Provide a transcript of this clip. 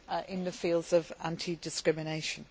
in the field of anti discrimination.